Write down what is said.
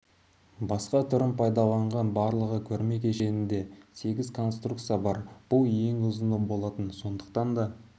басқа түрін пайдаланған барлығы көрме кешенінде сегіз конструкция бар бұл ең ұзыны болатын сондықтан да